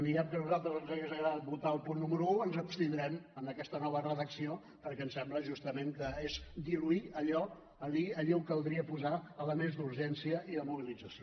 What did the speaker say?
diguem que a nosaltres ens hauria agradat votar el punt número un ens abstindrem en aquesta nova redacció perquè ens sembla justament que és diluir allò allí a on caldria posar elements d’urgència i de mobilització